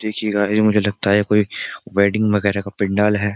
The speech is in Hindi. देखिये गाइस मुझे लगता है ये कोई वेडिंग वगेरा का पंडाल है।